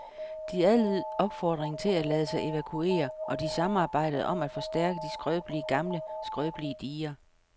De adlød opfordringerne til at lade sig evakuere, og de samarbejde om at forstærke de skrøbelige gamle skrøbelige diger.